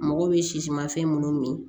Mɔgɔw bɛ sisimanfɛn minnu min